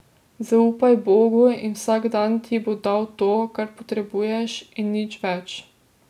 Zaupaj Bogu in vsak dan ti bo dal to, kar potrebuješ, in nič več.